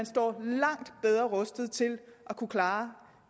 står langt bedre rustet til at kunne klare